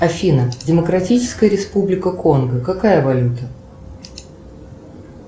афина демократическая республика конго какая валюта